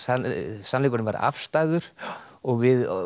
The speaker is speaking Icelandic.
sannleikurinn væri afstæður og við